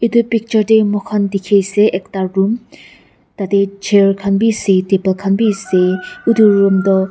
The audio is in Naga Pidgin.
edu picture tey moikhan dikhiase ekta room tatae chair khan biase table khan bi ase utu room toh--